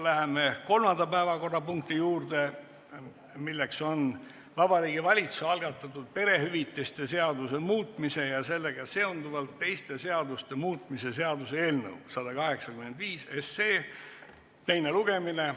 Läheme kolmanda päevakorrapunkti juurde: Vabariigi Valitsuse algatatud perehüvitiste seaduse muutmise ja sellega seonduvalt teiste seaduste muutmise seaduse eelnõu 185 teine lugemine.